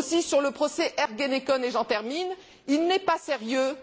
Pour ce qui est du procès Ergenekon et j'en termine il n'est pas sérieux